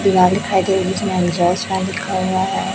लिखा हुआ है।